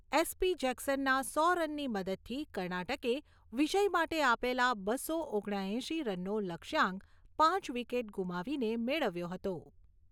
SP. જેક્સનના સો રનની મદદથી, કર્ણાટકે વિજય માટે આપેલા બસો ઓગણ્યા એંશી રનનો લક્ષ્યાંક પાંચ વિકેટ ગુમાવીને મેળવ્યો હતો.